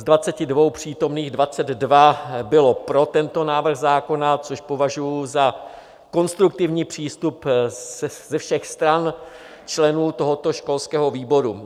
Z 22 přítomných 22 bylo pro tento návrh zákona, což považuji za konstruktivní přístup ze všech stran členů tohoto školského výboru.